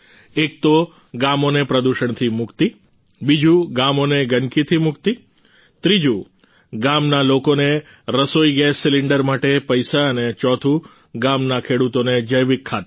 એક તો ગામોને પ્રદૂષણથી મુક્તિ બીજું ગામોને ગંદકીથી મુક્તિ ત્રીજું ગામના લોકોને રસોઈ ગેસ સિલિંડર માટે પૈસા અને ચોથું ગામના ખેડૂતોને જૈવિક ખાતર